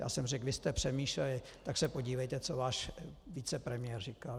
Já jsem řekl, vy jste přemýšleli, tak se podívejte, co váš vicepremiér říkal.